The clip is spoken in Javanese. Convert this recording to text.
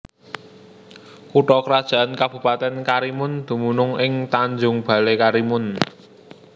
Kutha krajan Kabupatèn Karimun dumunung ing Tanjung Balai Karimun